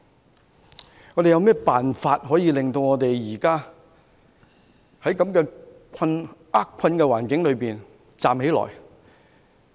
因此，我們有甚麼辦法可以在現時的厄困環境中站起來呢？